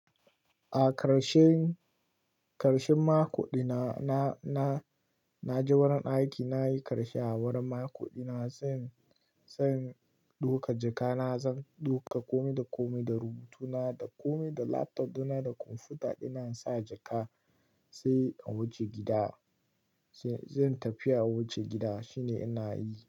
A karshen, karshen mako dina na, na, na je wurin aiki. Na yi karshe a wurin mako dina zan, zan dauka jaka na. Zan dauka kome da kome da rubutu na da kome da laptop dina da kwamfuta dina. Na sa jaka sai a waje gida. Zan tafi a wuce gida shine ina yi.